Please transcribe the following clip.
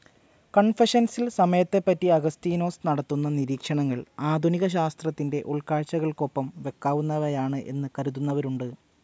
കൺഫെഷൻസിൽ സമയത്തെപ്പറ്റി അഗസ്തീനോസ് നടത്തുന്ന നിരീക്ഷണങ്ങൾ ആധുനിക ശാസ്ത്രത്തിന്റെ ഉൾകാഴ്ചകൾക്കൊപ്പം വയ്ക്കാവുന്നവയാണ് എന്നു കരുതുന്നവരുണ്ട്.